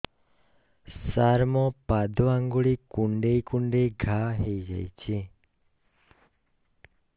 ସାର ମୋ ପାଦ ଆଙ୍ଗୁଳି କୁଣ୍ଡେଇ କୁଣ୍ଡେଇ ଘା ହେଇଯାଇଛି